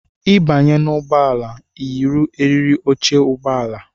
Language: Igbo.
Ịbanye n' ụgbọala i yiri eriri óche ụgbọala!!!!